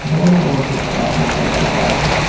Road बहोत ही बड़ा दिखाई दे रहा है।